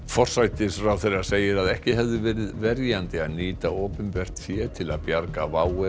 forsætisráðherra segir að ekki hefði verið verjandi að nýta opinbert fé til að bjarga WOW